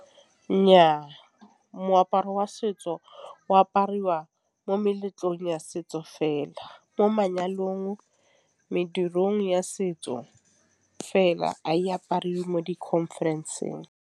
Nnyaa, moaparo wa setso o apariwa mo meletlong ya setso fela. Mo manyalong, medirong ya setso fela a e aparwe mo di-conference-ng.